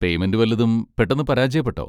Payment വല്ലതും പെട്ടെന്ന് പരാജയപ്പെട്ടോ?